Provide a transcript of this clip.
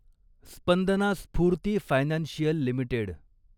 Spandana Sphoorty financial limited